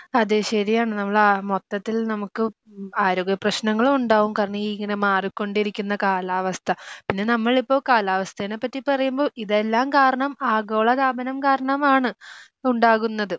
അതേ ശരിയാണ് നമ്മള് ആ മൊത്തത്തിൽ നമുക്ക് ആരോഗ്യപ്രശ്നങ്ങളും ഉണ്ടാവും കാരണം ഈ ഇങ്ങനെ മാറികൊണ്ടിരിക്കുന്ന കാലാവസ്ഥ പിന്നെ നമ്മൾ ഇപ്പോ കാലാവസ്ഥേനെ പറ്റി പറയുമ്പോ ഇതെല്ലാം കാരണം ആഗോളതാപനം കാരണമാണ് ഉണ്ടാകുന്നത്.